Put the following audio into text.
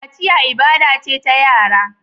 Kaciya ibada ce ta yara.